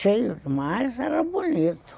Cheio demais, era bonito.